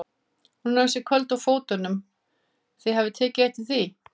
Hún er ansi köld á fótunum, þið hafið tekið eftir því?